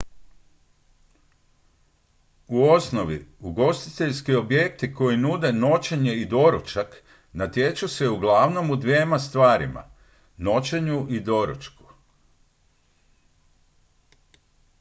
u osnovi ugostiteljski objekti koji nude noćenje i doručak natječu se uglavnom u dvjema stvarima noćenju i doručku